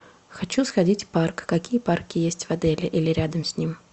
хочу сходить в парк какие парки есть в отеле или рядом с ним